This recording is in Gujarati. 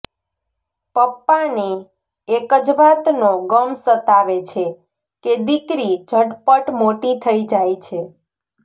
પપ્પાને એક જ વાતનો ગમ સતાવે છે કે દીકરી ઝટપટ મોટી થઈ જાય છે